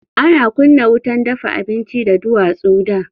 Ana kunna wutan dafa abinci da duwatsu da.